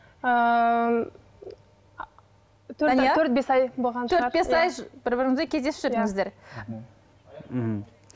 төрт бес ай болған төрт бес ай бір біріңізбен кездесіп жүрдіңіздер мхм